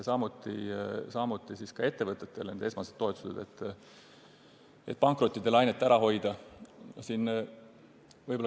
Sama võib öelda ettevõtetele antud esmaste toetuste kohta, et pankrotilainet ära hoida.